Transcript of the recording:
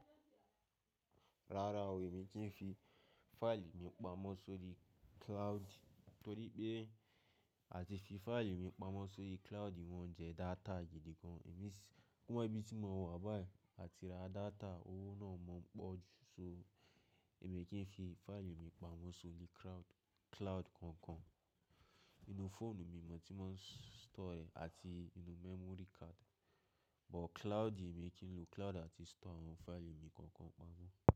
Rárá o, èmi kì í fi fáìlì mi pamọ́ sórí cloud, torí pé à ti fi fáìlì mi pamọ́ sórí cloud mọn jẹ data gidi gan. Àwon ibí tí mo wà báyìí, à ti ra data, owó náà o pọ̀ jù. So èmi kì í fi fáìlì mi pamọ́ sórí cloud kankan. Inú fóònù mi ni mò ń tí mò ń store rẹ̀ àti inú memory card, but cloud èmi kì í lo cloud àti store àwọn fáìlì mi kankan pamọ́